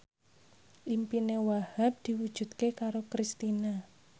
impine Wahhab diwujudke karo Kristina